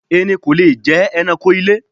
Erin kò le jé̩ eranko ilé.